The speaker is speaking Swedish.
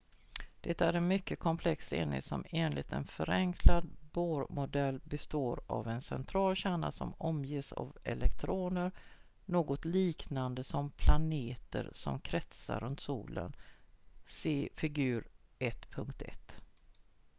det är en mycket komplex enhet som enligt en förenklad bohr-modell består av en central kärna som omges av elektroner något liknande som planeter som kretsar runt solen se figur 1.1